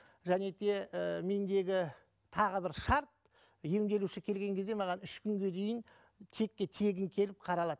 және де і мендегі тағы бір шарт емделуші келген кезде маған үш күнге дейін текке тегін келіп қаралады